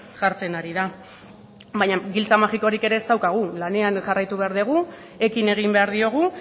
jartzen ari da baina giltza magikorik ere ez daukagu lanean jarraitu behar dugu ekin egin behar diogu